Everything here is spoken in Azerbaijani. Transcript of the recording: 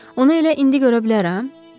Onu elə indi görə bilərəm?